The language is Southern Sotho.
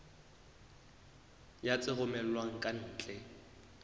ya tse romellwang ka ntle